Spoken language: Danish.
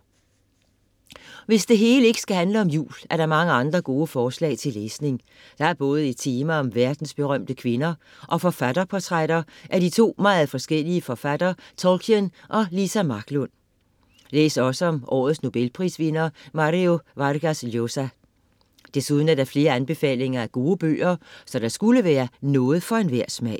Hvis det hele ikke skal handle om jul, er der mange andre gode forslag til læsning. Der er både et tema om verdensberømte kvinder og forfatterportrætter af de to meget forskellige forfattere Tolkien og Liza Marklund. Læs også om årets nobelprisvinder Mario Vargas Llosa. Desuden er der flere anbefalinger af gode bøger, så der skulle være noget for enhver smag.